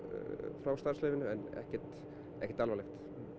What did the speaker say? frá starfsleyfinu en ekkert ekkert alvarlegt